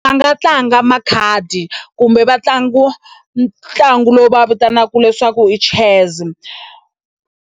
Va nga tlanga makhadi kumbe va ntlangu ntlangu lowu vitanaka leswaku i chess.